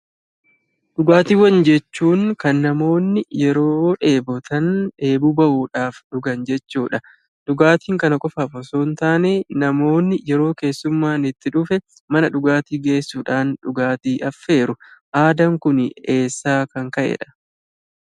Dhugaatiiwwan jechuun kan namoonni yeroo dheebotan dheebuu bahuudhaaf dhugan jechuudha. Dhugaatiin kana qofaaf osoo hin taane namoonni yeroo keessummaan itti dhufe mana dhugaatii geessuudhaan dhugaatii affeeru. Aadaan Kun eessaa kan ka'edha?